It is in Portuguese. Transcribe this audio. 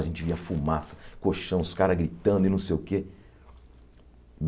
A gente via fumaça, colchão, os caras gritando e não sei o quê.